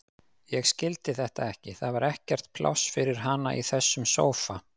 Ég skildi þetta ekki, það var ekkert pláss fyrir hana í þessum sófa.